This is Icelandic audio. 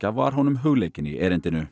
var honum hugleikin í erindinu